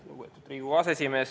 Lugupeetud Riigikogu aseesimees!